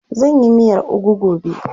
Zan yi miyar ugu gobe.